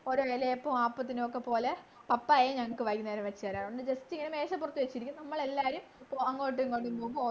ഓരോ ഇലയപ്പം അപ്പത്തിനെയൊക്കെ പപ്പായയും ഞങ്ങക്ക് വൈന്നേരം വച്ച് തരാറുണ്ട് just ഇങ്ങനെ മേശപ്പുറത്തു വച്ചിരിയ്ക്കും നമ്മളെല്ലാരും അങ്ങോട്ടും ഇങ്ങോട്ടും പോവുമ്പോ